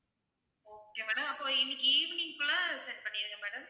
okay madam அப்போ இன்னைக்கு evening குள்ள send பண்ணிருங்க madam